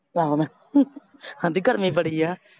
ਕੌਣ ਆਂਹਦੀ ਗਰਮੀ ਬੜੀ ਏ।